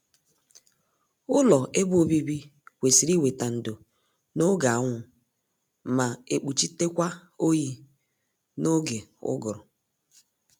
Ụlọ ebe obibi kwesịrị iweta ndo n'oge anwụ mae kpuchitekwa oyi n'oge ụgụrụ